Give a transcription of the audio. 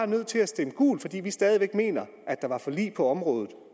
nødt til at stemme gult fordi vi stadig væk mener at der var forlig på området